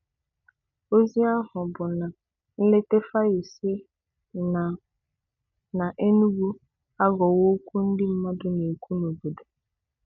Ozi ahụ bụ na nleta Fayose na na Enugu aghọwo okwu ndị mmadụ na-ekwu n’obodo.